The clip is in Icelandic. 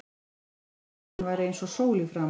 Brosti ekki þó að hann væri eins og sól í framan.